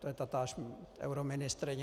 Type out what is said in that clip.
To je tatáž euroministryně.